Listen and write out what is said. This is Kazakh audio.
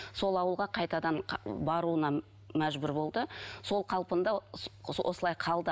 сол ауылға қайтадан баруына мәжбүр болды сол қалпында осылай қалды